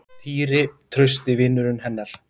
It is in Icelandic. Týri, trausti vinurinn hennar.